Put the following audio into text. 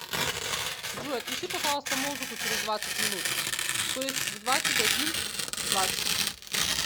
джой отключи пожалуйста музыку через двадцать минут то есть в двадцать один двадцать